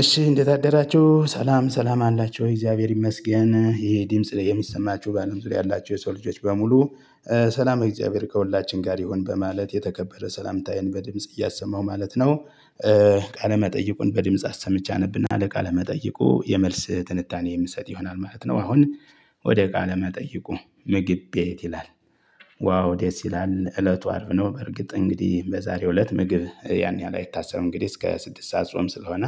እሺ እንደት አደራቹ ሰላም ሰላም አላቹ እግዚአብሔር ይመስገን ይሄ ድምጽ የሚሰማቹ ባለምዙሪያ ያላቹ የሰው ልጆች በሙሉ። ሰላም እግዚአብሔር ከሁላችን ጋር ይሁን በማለት የተከበረ ሰላምታዬን በድምጽ እያሰማው ማለት ነው። ቃለ መጠይቁን በድምጽ አሰምቼ አነብና ለቃለ መጠይቁ የመልስ ትንታኔ የምትሰጥ ይሆናል ማለት ነው። አሁን ወደ ቃለ መጠይቁ ምግብ ቤት ይላል። ዋው ደስ ይላል እለቱ አርብ ነው። በርግጥ እንግዲህ በዛሬው እለት ምግብ ያን ያህል አይታሰብም እንግዲህ እስከ ስድስት ሰዓት ጾም ስለሆነ።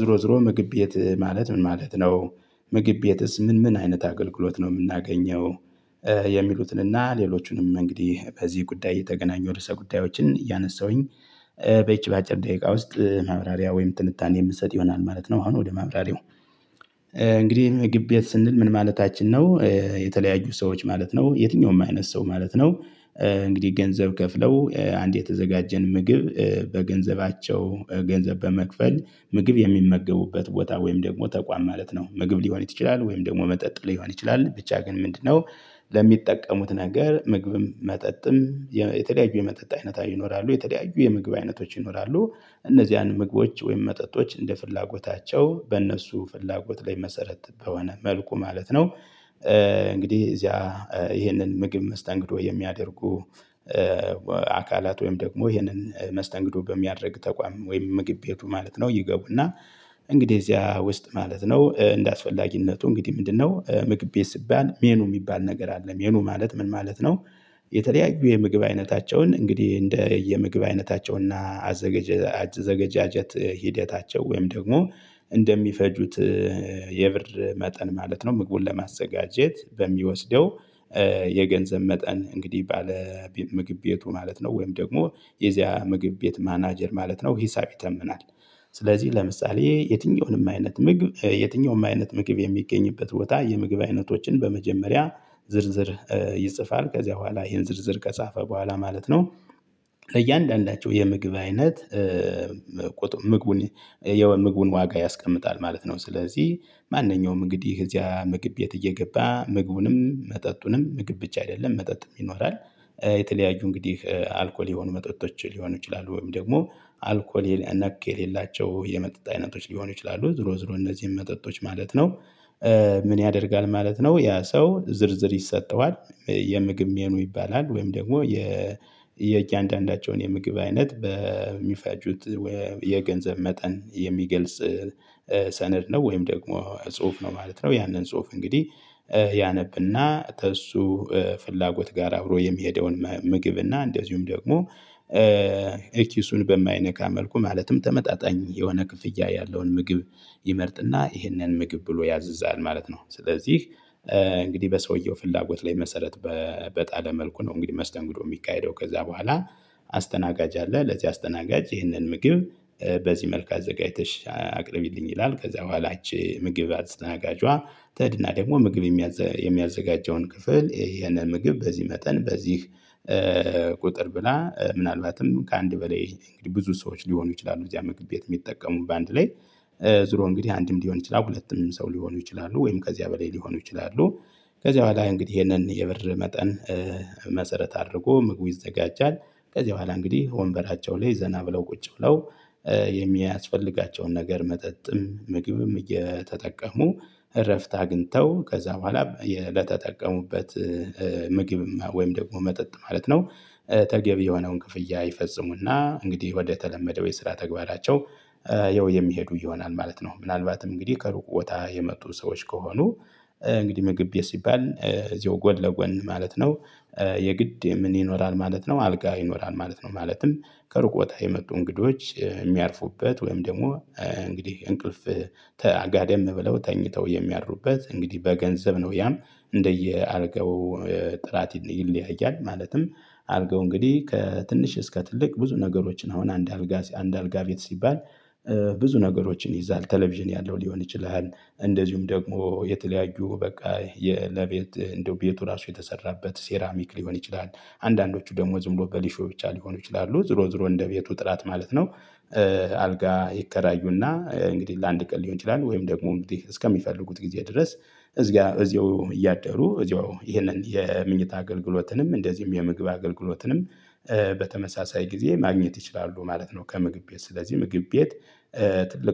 ዞሮ ዞሮ ምግብ ቤት ማለት ምን ማለት ነው? ምግብ ቤትስ ምን ምን አይነት አገልግሎት ነው የምናገኘው? የሚሉትንና ሌሎቹንም እንግዲህ በዚህ ጉዳይ እየተገናኙ ርዕሰ ጉዳዮችን እያነሳሁኝ በይቺ በአጭር ደቂቃ ውስጥ ማብራሪያ ወይም ትንታኔ የምንሰጥ ይሆናል ማለት ነው። አሁን ወደ ማብራሪያው። እንግዲህ ምግብ ቤት ስንል ምን ማለታችን ነው? የተለያዩ ሰዎች ማለት ነው የትኛውም አይነት ሰው ማለት ነው። እንግዲህ ገንዘብ ከፍለው አንድ የተዘጋጀን ምግብ በገንዘባቸው ገንዘብ በመክፈል ምግብ የሚመገቡበት ቦታ ወይም ደግሞ ተቋም ማለት ነው ምግብ ሊሆን ይችላል ወይም ደግሞ መጠጥ ሊሆን ይችላል ብቻ ግን ምንድነው? ለሚጠቀሙት ነገር ምግብም መጠጥም የተለያዩ የመጠጥ አይነት ይኖራሉ የተለያዩ የምግብ አይነቶች ይኖራሉ። እነዚያን ምግቦች ወይም መጠጦች እንደ ፍላጎታቸው በእነሱ ፍላጎት ላይ መሰረት በሆነ መልኩ ማለት ነው። እንግዲህ እዚያ ይሄንን ምግብ መስተንግዶ የሚያደርጉ። አካላት ወይም ደግሞ ይሄንን መስተንግዶ በሚያደርግ ተቋም ወይም ምግብ ቤቱ ማለት ነው ይገቡና። እንግዲህ እዚያ ውስጥ ማለት ነው እንደ አስፈላጊነቱ እንግዲህ ምንድነው ምግብ ቤት ሲባል ሜኑ የሚባል ነገር አለ። ሜኑ ማለት ምን ማለት ነው? የተለያዩ የምግብ አይነታቸውን እንግዲህ እንደ የምግብ አይነታቸውና አዘገጀ አዘገጃጀት ሂደታቸው ወይም ደግሞ እንደሚፈጁት የብር መጠን ማለት ነው። ምግቡን ለማዘጋጀት በሚወስደው የገንዘብ መጠን እንግዲህ ባለ ምግብ ቤቱ ማለት ነው። ወይም ደግሞ የዚያ ምግብ ቤት ማናጀር ማለት ነው ሂሳብ ይተምናል። ስለዚህ ለምሳሌ የትኛውንም አይነት ምግብ የትኛውንም አይነት ምግብ የሚገኝበት ቦታ የምግብ አይነቶችን በመጀመሪያ ዝርዝር ይጽፋል ከዚያ በኋላ ይሄን ዝርዝር ከጻፈ በኋላ ማለት ነው። ለእያንዳንዳቸው የምግብ አይነት ምግቡን የምግቡን ዋጋ ያስቀምጣል ማለት ነው። ስለዚህ ማንኛውም እንግዲህ እዚያ ምግብ ቤት እየገባ ምግቡንም መጠጡንም ምግብ ብቻ አይደለም መጠጥ ይኖራል። የተለያዩ እንግዲህ አልኮል የሆኑ መጠጦች ሊሆኑ ይችላሉ ወይም ደግሞ አልኮል ነክ የሌላቸው የመጠጥ አይነቶች ሊሆኑ ይችላሉ ዙሮ ዙሮ እነዚህን መጠጦች ማለት ነው። ምን ያደርጋል ማለት ነው ያ ሰው ዝርዝር ይሰጠዋል የምግብ ሜኑ ይባላል። ወይም ደግሞ የ የእያንዳንዳቸውን የምግብ አይነት በሚፈጁት ወይ የገንዘብ መጠን የሚገልጽ ሰነድ ነው ወይም ደግሞ ጽሁፍ ነው ማለት ነው። ያንን ጽሁፍ እንግዲህ ያነብና ከእሱ ፍላጎት ጋር አብሮ የሚሄደውን ምግብና እንደዚሁም ደግሞ ኪሱን በማይነካ መልኩ ማለትም ተመጣጣኝ የሆነ ክፍያ ያለውን ምግብ ይመርጥና ይሄንን ምግብ ብሎ ያዝዛል ማለት ነው። ስለዚህ እንግዲህ በሰውየው ፍላጎት ላይ መሰረት በጣለ መልኩ ነው እንግዲህ መስተንግዶ የሚካሄደው። ከዛ በኋላ አስተናጋጅ አለ ለዚህ አስተናጋጅ ይህንን ምግብ በዚህ መልኩ አዘጋጅተሽ አቅርቢልኝ ይላል። ከዛ በኋላችሁ ምግብ አስተናጋጇ ቴድና ደግሞ ምግብ የሚያዘጋጀውን ክፍል ይሄንን ምግብ በዚህ መጠን በዚህ ቁጥር ብላ ምናልባትም ከአንድ በላይ እንግዲህ ብዙ ሰዎች ሊሆኑ ይችላሉ እዚያ ምግብ ቤት የሚጠቀሙት በአንድ ላይ ዙሮ እንግዲህ አንድም ሊሆን ይችላል ሁለትም ሰው ሊሆኑ ይችላሉ ወይም ከዚያ በላይ ሊሆኑ ይችላሉ። ከዚያ በኋላ እንግዲህ ይሄንን የብር መጠን መሰረት አድርጎ ምግቡ ይዘጋጃል። ከዚህ በኋላ እንግዲህ ወንበራቸው ላይ ዘና ብለው ቁጭ ብለው የሚያስፈልጋቸውን ነገር መጠጥም ምግብም እየተጠቀሙ እረፍት አግኝተው ከዛ በኋላ ለተጠቀሙበት ምግብም ወይም ደግሞ መጠጥ ማለት ነው። ተገቢ የሆነውን ክፍያ ይፈጽሙና እንግዲህ ወደ ተለመደው የስራ ተግባራቸው የሚሄዱ ይሆናል ማለት ነው። ምናልባትም እንግዲህ ከሩቅ ቦታ የመጡ ሰዎች ከሆኑ። እንግዲህ ምግብ ቤት ሲባል እዚሁ ጎን ለጎን ማለት ነው። የግድ ምን ይኖራል ማለት ነው አልጋ ይኖራል ማለት ነው። ማለትም ከሩቅ ቦታ የመጡ እንግዶች የሚያርፉበት ወይም ደግሞ እንግዲህ እንቅልፍ ተ ጋደም ብለው ተኝተው የሚያድሩበት እንግዲህ በገንዘብ ነው። ያም እንደየ አልጋው ጥራት ይለያያል። ማለትም አልጋው እንግዲህ ከትንሽ እስከ ትልቅ ብዙ ነገሮችን አሁን አንድ አልጋ አንድ አልጋ ቤት ሲባል። ብዙ ነገሮችን ይይዛል ቴሌቪዥን ያለው ሊሆን ይችላል እንደዚሁም ደግሞ የተለያዩ በቃ የ ለቤት እንደው ቤቱ ራሱ የተሰራበት ሴራሚክ ሊሆን ይችላል። አንዳንዶቹ ደግሞ ዝም ብሎ በሊሾ ብቻ ሊሆኑ ይችላሉ ዙሮ ዙሮ እንደ ቤቱ ጥራት ማለት ነው። አልጋ ይከራዩና እንግዲህ ለአንድ ቀን ሊሆን ይችላሉ ወይም ደግሞ እንግዲህ እስከሚፈልጉት ጊዜ ድረስ። እዚህ ጋር እዚያው እያደሩ እዚሁ ይሄንን የምኝታ አገልግሎትንም እንደዚሁም የምግብ አገልግሎትንም በተመሳሳይ ጊዜ ማግኘት ይችላሉ ማለት ነው። ከምግብ ቤት ስለዚህ ምግብ ቤት ትልቅ